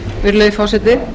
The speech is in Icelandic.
virðulegi forseti